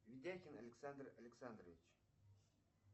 видяхин александр александрович